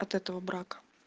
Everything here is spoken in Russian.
от этого брака